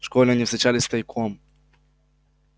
в школе они встречались тайком